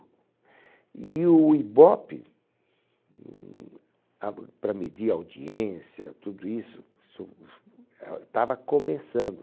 E o Ibope, hum, ab para medir audiência, tudo isso, estava começando.